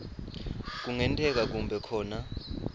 kungenteka kube khona